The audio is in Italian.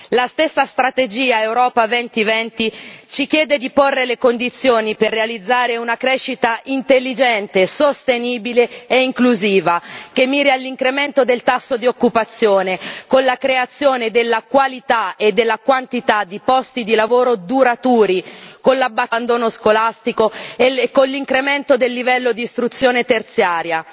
La stessa strategia Europa 2020 ci chiede di porre le condizioni per realizzare una crescita intelligente, sostenibile e inclusiva, che miri all'incremento del tasso di occupazione, con la creazione della qualità e della quantità di posti di lavoro duraturi, con l'abbattimento del tasso di abbandono scolastico e con l'incremento del livello d'istruzione terziaria.